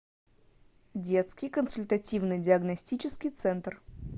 детский консультативно диагностический центр